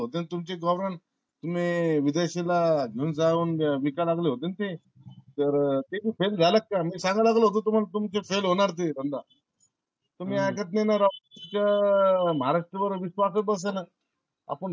जर तुमचे problem तुम्ही विदेशीला घेऊन जाऊन विकाय लागले होते ना ते तर ते बी fail झाला का? मी सांगाया लागलो होतो ना तुम्हाला तुमचा fail होणार ते समजा तुम्ही ऐकत नाय ना राव तुमचा महाराष्टवर विश्वास च बसना आपण.